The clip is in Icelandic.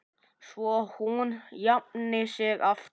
Svo hún jafni sig aftur.